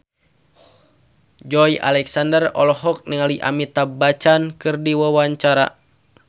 Joey Alexander olohok ningali Amitabh Bachchan keur diwawancara